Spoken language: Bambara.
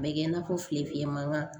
A bɛ kɛ i n'a fɔ filefiye mankan